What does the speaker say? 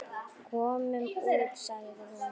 Komum út, sagði hún.